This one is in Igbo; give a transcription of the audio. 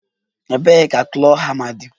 Ebee ka claw hama dị?